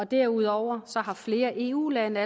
derudover har flere eu lande